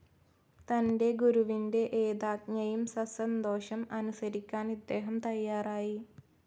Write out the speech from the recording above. തന്റെ ഗുരുവിന്റെ ഏതാജ്ഞയും സസന്തോഷം അനുസരിക്കാൻ ഇദ്ദേഹം തയ്യാറായി.